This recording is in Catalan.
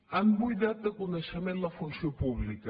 han buidat de coneixement la funció pública